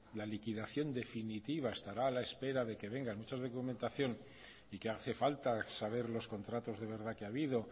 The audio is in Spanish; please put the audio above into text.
la liquidación definitiva estará a la espera de que venga mucha documentación y que hace falta saber los contratos de verdad que ha habido